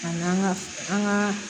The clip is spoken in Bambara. A n'an ka an gaa